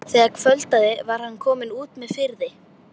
Þegar kvöldaði var hann kominn út með firði.